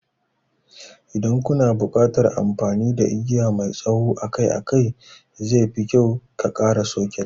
Idan kana buƙatar amfani da igiya mai tsawo akai-akai, zefi kyau ka ƙara soket.